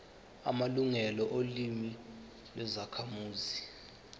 amalungelo olimi lwezakhamuzi